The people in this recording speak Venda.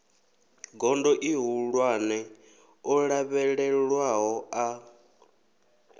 gondo ihulwane o lavhelelwaho a